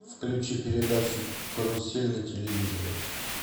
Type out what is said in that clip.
включи передачу карусель на телевизоре